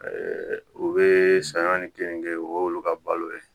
u bɛ saɲɔ ni keninge o y'olu ka balo ye